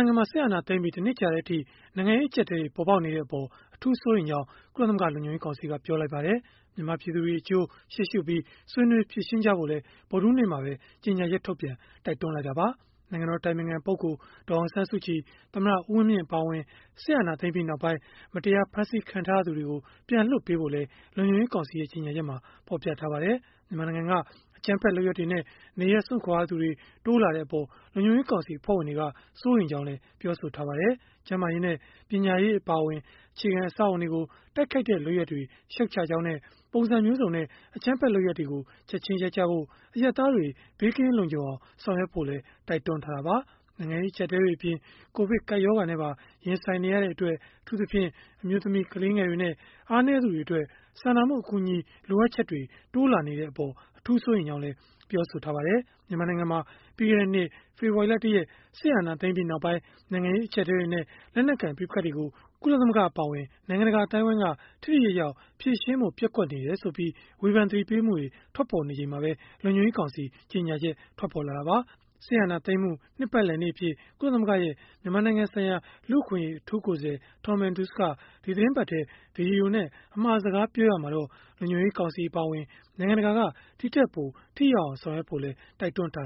ိုင်ငံမှာ စစ်အာဏာသိမ်းပြီး ၁ နှစ်ကြာတဲ့အထိ နိုင်ငံရေး အကျပ်အတည်းတွေ ပေါ်ပေါက်နေတဲ့အပေါ် အထူးစိုးရိမ်ကြောင်း ကုလသမဂ္ဂ လုံခြုံရေးကောင်စီက ပြောဆိုလိုက်ပါတယ်။ မြန်မာပြည်သူတွေအကျိုး ရှေ့ရှုပြီး ဆွေးနွေးဖြေရှင်းဖို့လည်း ဗုဒ္ဓဟူးနေ့မှာ ကြေညာချက်ထုတ်ပြန် တိုက်တွန်းလိုက်တာပါ။ နိုင်ငံတော် အတိုင်ပင်ခံ ဒေါ်အောင်ဆန်းစုကြည်၊ သမ္မတဦးဝင်းမြင့် အပါအဝင် စစ်အာဏာသိမ်းပြီး နောက်ပိုင်း မတရားဖမ်းဆီးခံထားရသူတွေကို ပြန်လွှတ်ပေးဖို့လည်း လုံခြုံရေးကောင်စီရဲ့ ကြေညာချက်မှာ ဖော်ပြထားပါတယ်။ မြန်မာနိုင်ငံက အကြမ်းဖက် လုပ်ရပ်တွေနဲ့ နေရပ်စွန့်ခွာရသူတွေ တိုးလာတဲ့အပေါ် လုံခြုံရေးကောင်စီ အဖွဲ့ဝင်တွေက စိုးရိမ်ကြောင်း ပြောပါတယ်။ ကျန်းမာရေးနဲ့ ပညာရေး အပါအဝင် အခြေခံအဆောက်အအုံတွေကို တိုက်ခိုက်တဲ့ လုပ်ရပ်တွေကို ရှုတ်ချကြောင်းနဲ့ ပုံစံမျိုးစုံနဲ့ အကြမ်းဖက်လုပ်ရပ်တွေကို ချက်ခြင်းရပ်ဖို့၊ အရပ်သားတွေ ဘေးကင်းလုံခြုံအောင် ဆောင်ရွက်ဖို့လည်း တိုက်တွန်းထားတာပါ။ နိုင်ငံရေး အကျပ်အတည်းတွေအပြင် ကိုဗစ်ကပ်ရောဂါနဲ့ပါ ရင်ဆိုင်နေရတဲ့အတွက် အထူးသဖြင့်၊ အမျိုးသမီး၊ ကလေးငယ်တွေနဲ့ အားနည်းသူတွေအတွက် စာနာမှုအကူအညီ လိုအပ်ချက်တွေ တိုးလာနေတဲ့အပေါ် အထူးစိုးရိမ်ကြောင်းလည်း ပြောပါတယ်။ မြန်မာနိုင်ငံမှာ ပြီးခဲ့တဲ့နှစ် ဖေဖော်ဝါရီလ ၁ ရက် စစ်အာဏာသိမ်းပြီးနောက်ပိုင်း နိုင်ငံရေး အကျပ်အတည်းတွေနဲ့ လက်နက်ကိုင် ပဋိပက္ခတွေကို ကုလသမဂ္ဂ အပါအဝင် နိုင်ငံတကာ အသိုင်းအဝန်းက ထိထိရောက်ရောက် ဖြေရှင်းဖို့ ပျက်ကွက်နေတယ်ဆိုပြီး ဝေဖန်သတိပေးမှုတွေ ထွက်ပေါ်နေချိန်မှာပဲ လုံခြုံရေးကောင်စီ ကြေညာချက် ထွက်ပေါ်လာတာပါ။ စစ်အာဏာသိမ်းမှု နှစ်ပတ်လည်နေ့အဖြစ် ကုလသမဂ္ဂရဲ့ မြန်မာနိုင်ငံဆိုင်ရာ လူ့အခွင့်အရေး အထူးကိုယ်စားလှယ် Tom Andrews က ဒီသီတင်းပတ်ထဲ ဗွီဒီယိုနဲ့ အမှာစကားပြောရာမှာတော့ လုံခြုံရေးကောင်စီ အပါအဝင် နိုင်ငံတကာက ဒီထက်ပို ထိရောက်အောင် ဆောင်ရွက်ဖို့လည်း တိုက်တွန်းထား